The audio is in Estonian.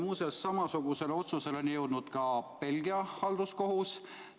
Muuseas, samasugusele otsusele on jõudnud ka Belgia halduskohus.